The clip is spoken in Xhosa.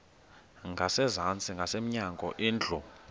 ngasezantsi ngasemnyango indlu